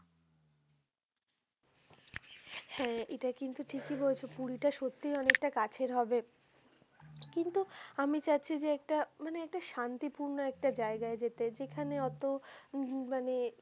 হ্যা এটা কিন্তু ঠিকই বলেছ পুরীটা সত্যিই অনেকটা কাছের হবে কিন্তু আমি চাচ্ছি যে একটা মানে একটা শান্তিপূর্ন একটা জায়গায় যেতে যেখানে অতো উহ হম মানে,